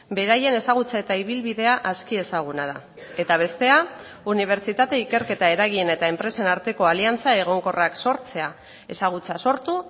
beraien ezagutza eta ibilbidea aski ezaguna da eta bestea unibertsitate ikerketa eragin eta enpresen arteko aliantza egonkorrak sortzea ezagutza sortu